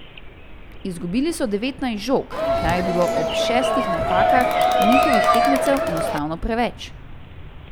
Izgubili so devetnajst žog, kar je bilo ob šestih napakah njihovih tekmecev enostavno preveč.